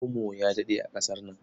Omo ya daɗe a ƙasar nan.